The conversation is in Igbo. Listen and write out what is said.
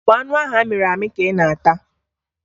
Ọ bụ anụ ahụ amịrị amị ka ị na-ata?